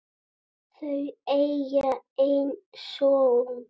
Þau eiga einn son.